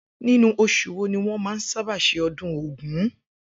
Inú os̩ù wo ni wó̩n máa ń sábà s̩e o̩dún ògún?